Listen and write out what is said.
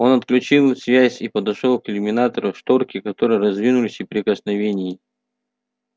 он отключил связь и подошёл к иллюминатору шторки которого раздвинулись при прикосновении